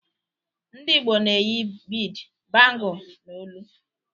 Ndị Igbo na-eyi Bead, bangle, na olu.